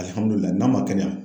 Alihamudulila n'a ma kɛnɛya